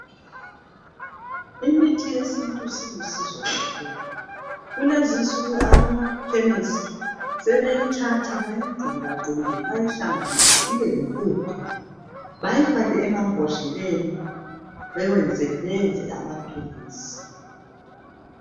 Imithi yesintu silusizo kakhulu kulezinsuku abamakhemesi sebeyithatha bayigqunde gqunde bayihlanganise ibeyimpuphu bayifake emambodleleni beyenze amaphilisi.